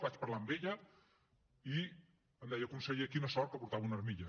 vaig parlar amb ella i em deia conseller quina sort que portava una armilla